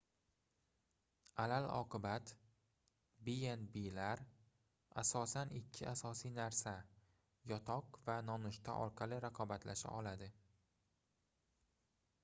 alal-oqibat b&b lar asosan ikki asosiy narsa yotoq va nonushta orqali raqobatlasha oladi